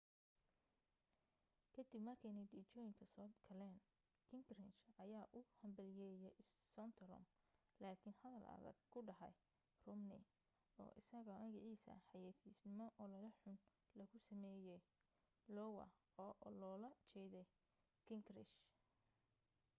ka dib markay natiijooyinka soo galeen gingrich ayaa u hambalyaayay santorum lakin hadal adag ku dhahay romney oo isaga magaciisa xayaysiino olole xun logu samayay iowa oo lola jeeday gingrich